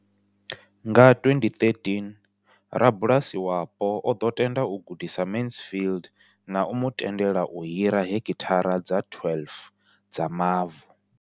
Nga 2013, rabulasi wapo o ḓo tenda u gudisa Mansfield na u mu tendela u hira heki thara dza 12 dza mavu.